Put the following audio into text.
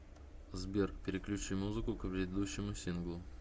сбер переключи музыку к предыдущему синглу